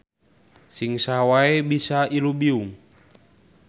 Sing saha wae bisa ilubiung.